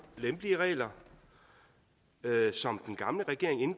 lempelige regler som den gamle regering